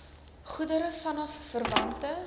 goedere vanaf verwante